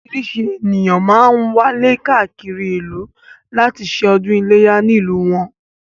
Orísìírísìí ènìyàn máá ń wálé káàkiri ìlú láti ṣe ọdún iléyá nílùú wọn